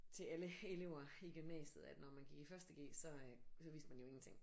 Til alle elever i gymnasiet at når man gik i første g så øh så vidste man jo ingenting